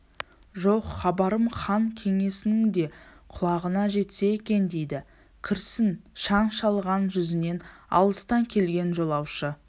жоқ хабарым хан кеңесінің де құлағына жетсе екен дейді кірсін шаң шалған жүзінен алыстан келген жолаушы